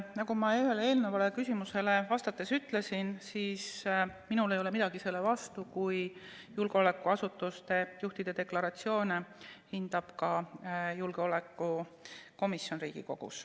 Nagu ma ühele eelnevale küsimusele vastates ütlesin, ei ole minul midagi selle vastu, kui julgeolekuasutuste juhtide deklaratsioone hindab ka Riigikogu julgeolekukomisjon.